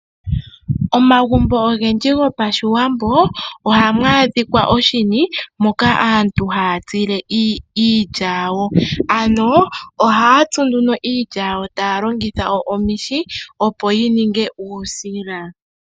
Omagumbo ogendji gOpashiwambo ohamu adhikwa oshini moka aantu haya tsile iilya yawo . Ohaya tsu iilya yawo taya longitha omihi opo yininge uusila.